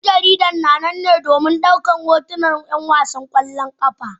Dan jaridar na nan ne domin daukar hotunan 'yan wasan kwallon kafa